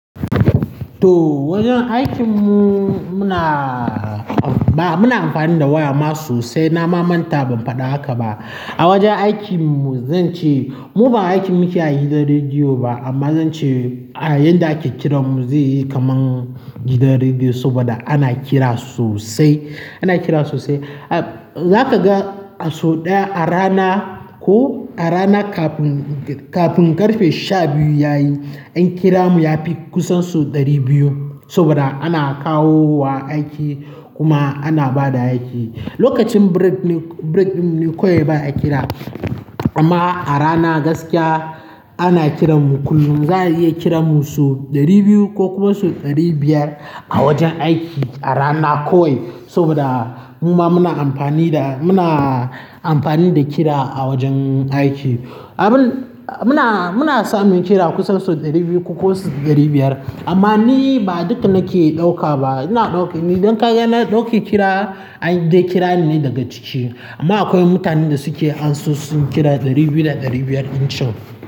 To wajen aikin mu muna-- ba muna amfani da waya ma sosai. Na ma manta ban faɗa haka ba. A wajen aikin mu zan ce mu ban aikin muke a gidan rediyo ba amma zan ce a yanda ake kiran mu zai yi kaman gidan rediyo saboda ana kira sosai, ana kira sosai. Za ka ga a so ɗaya a rana ko a rana kafin, kafin ƙarfe sha biyu yayi an kira mu ya fi kusan sau ɗari biyu saboda ana kawo wa aiki kuma ana ba da aiki. Lokacin break ne, break ɗin ne kawai ba a kira amma a rana gaskiya ana kiran mu kullum. Za a iya kira mu sau ɗari biyu ko kuma sau ɗari biyar a wajen aiki a rana kawai saboda muma muna amfani da, muna amfani da kira a wajen aiki. Abin, muna, muna samun kira kusan sau ɗari biyu ko ɗari biyar amma ni ba duk nake ɗauka ba. Ina ɗauke, idan ka ga na ɗauka kira, an dai kira ni daga ciki amma akwai mutanen da suke anso sun kira ɗari biyu da ɗari biyar dinchon.